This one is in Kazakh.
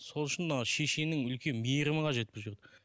сол үшін мына шешенің үлкен мейірімі қажет бұл жерде